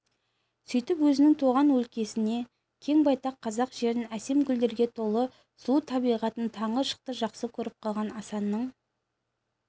сөйтіп өзінің туған өлкесін кең байтақ қазақ жерін әсем гүлдерге толы сұлу табиғатын таңғы шықты жақсы көріп қалған асаның